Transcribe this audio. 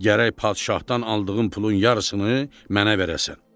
Gərək padşahdan aldığın pulun yarısını mənə verəsən.